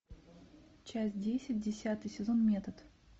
часть десять десятый сезон метод